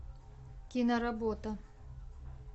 киноработа